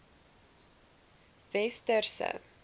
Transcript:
westerse